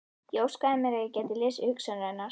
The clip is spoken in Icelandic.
Ég óskaði mér að ég gæti lesið hugsanir hennar.